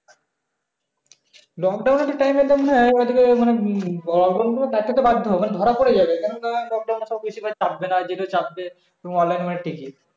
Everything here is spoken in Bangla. lockdown এর time এ তো মনে হয় ধরা পরে যাবে কেননা lockdown এ তো বেশি লোক চাপবে না যেটা চাপবে ticket